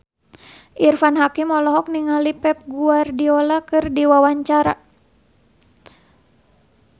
Irfan Hakim olohok ningali Pep Guardiola keur diwawancara